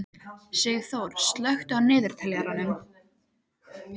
Sigþór, slökktu á niðurteljaranum.